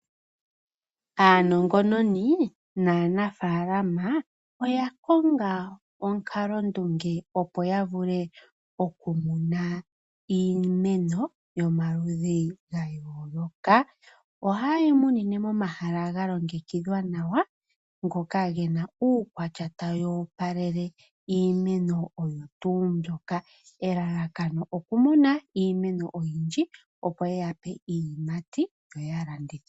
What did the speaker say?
Aanongononi naanafalama oya konga omukalo ndunge opo ya vule oku muna iimeno yomaludhi gayoloka. Oha yi munine momahala ga longekidhwa nawa. Ngoka gena uukwatya tawu opalele iimeno oyo tuu mbyoka. Elalakano oku muna iimeno oyindji opo ye yape iiyimati yoya landithe.